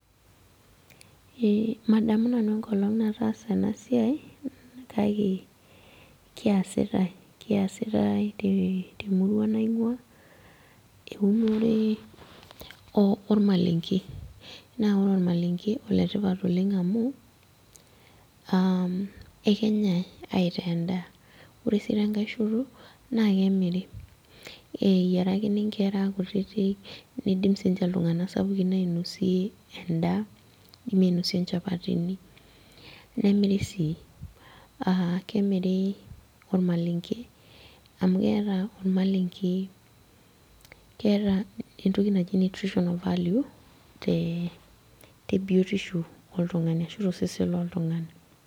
Ee, madamu nanu enkolong nataasa enasiai, kake keasitai temurua naing'ua, eunore ormalenke. Naa ore ormalenke, oletipat oleng amuu, ekenyai aitaa endaa. Ore si tenkae shoto, na kemiri. Eyiarakini inkera kutitik, nidim sinche iltung'anak sapukin ainosie endaa, kidimi ainosie inchapatini, nemiri sii. Ah kemiri ormalenke amu keeta ormalenke, keeta entoki naji nutritional value, tebiotisho oltung'ani, ashu tosesen loltung'ani.